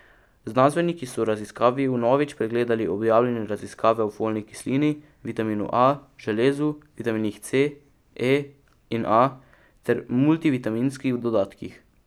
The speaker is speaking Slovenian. Znanstveniki so v raziskavi vnovič pregledali objavljene raziskave o folni kislini, vitaminu A, železu, vitaminih C, E in A ter multivitaminskih dodatkih.